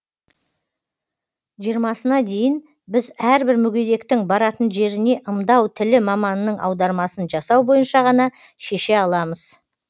жиырмасына дейін біз әрбір мүгедектің баратын жеріне ымдау тілі маманының аудармасын жасау бойынша ғана шеше аламыз